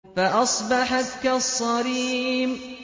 فَأَصْبَحَتْ كَالصَّرِيمِ